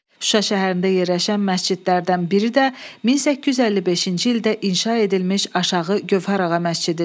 Şuşa şəhərində yerləşən məscidlərdən biri də 1855-ci ildə inşa edilmiş aşağı Gövhər ağa məscididir.